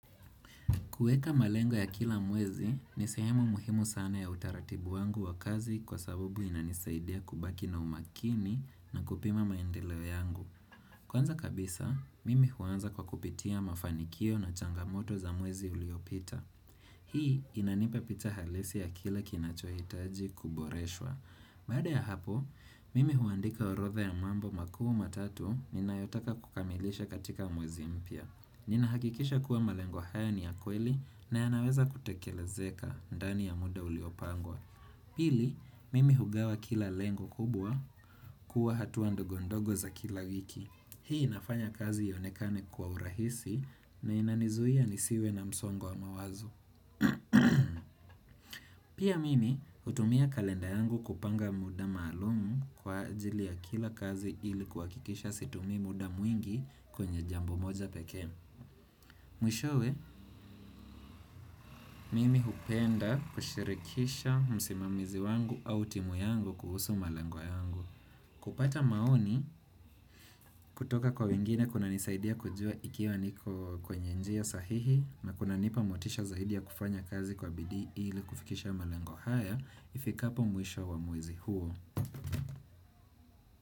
Kuweka malengo ya kila mwezi ni sehemu muhimu sana ya utaratibu wangu wa kazi kwa sabubu inanisaidia kubaki na umakini na kupima maendeleo yangu. Kwanza kabisa, mimi huanza kwa kupitia mafanikio na changamoto za mwezi uliopita. Hii inanipa picha halisi ya kila kinachohitaji kuboreshwa. Baada ya hapo, mimi huandika orodha ya mambo makuu matatu ni nayotaka kukamilisha katika mwezi mpya. Nina hakikisha kuwa malengo haya ni ya kweli na yanaweza kutekelezeka ndani ya muda uliopangwa Pili, mimi hugawa kila lengo kubwa kuwa hatua ndogo ndogo za kila wiki Hii inafanya kazi ionekane kwa urahisi na inanizuia nisiwe na msongo wa mawazo Pia mimi hutumia kalenda yangu kupanga muda maalumu kwa ajili ya kila kazi ili kuhakikisha situmii muda mwingi kwenye jambo moja pekee Mwishowe, mimi hupenda kushirikisha msimamizi wangu au timu yangu kuhusu malengo yangu. Kupata maoni kutoka kwa wengine kunanisaidia kujua ikiwa niko kwenye njia sahihi na kuna nipa motisha zaidi ya kufanya kazi kwa bidii ili kufikisha malengo haya ifikapo mwisho wa mwezi huo.